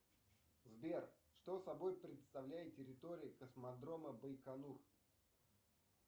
сбер что собой представляет территория космодрома байконур